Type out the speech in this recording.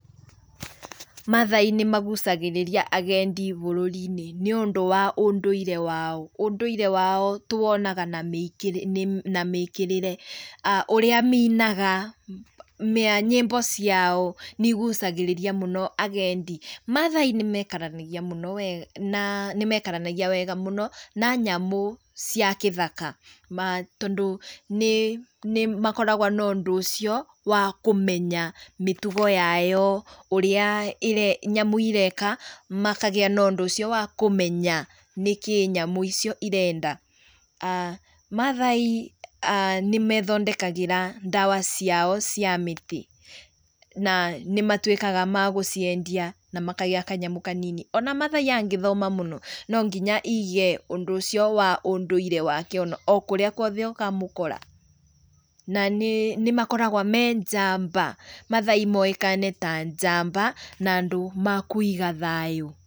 Maathai nĩmagucagĩrĩrĩa agendi bũrũri-inĩ nĩũndũ wa ũndũire wao. Ũndũire wao tũwonaga na mĩĩkĩrĩre, ũrĩa mainaga nyĩmbo ciao nĩigucagĩrĩria mũno agendi. Maathai nĩ maikaranagia mũno wega na nĩ maikaranagia wega mũno na nyamũ cia gĩthaka tondũ nĩ makoragwo na ũndũ ũcio wa kũmenya mĩtugo yayo, ũria nyamũ ireka makagĩa na ũndũ ũcio wa kũmenya nĩkĩĩ nyamũ icio irenda. Maathai nĩmeethondekagĩra ndawa ciao cia mĩtĩ na nĩmatũĩkaga ma gũciendia na makagĩa kanyamũ kanini. Ona maathai angĩthoma mũno, no nginya aige ũndũ ũcio wa ũndũire wake, o kũrĩa kũothe ũkamũkora, na nĩ makoragwo me njamba. Maathai moĩkaine ta njamba na andũ makũiga thayũ.